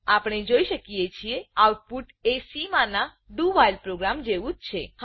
આપણે જોઈ શકીએ છીએ આઉટપુટ એC માના doવ્હાઇલ ડુ વાઇલ પ્રોગ્રામ જેવું જ છે